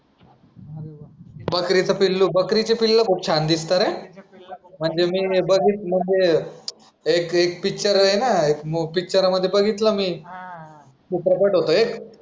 बकरीचे पिल्लू बकरीचे पिल्ल खूप छान दिसता रे म्हणजे मी बघीत म्हणजे एक एक पिक्चर आहे ना पिक्चर मध्ये बघितलं मी चित्रपट होतं एक